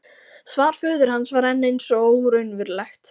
Svar föður hans var enn eins og óraunverulegt.